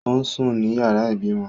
Ó ń sùn ní yàrá ìbímọ